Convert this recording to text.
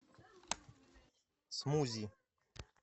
смузи